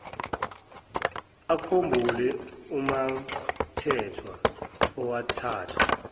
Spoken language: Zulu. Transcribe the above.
akhumbule umamthethwa owathathwa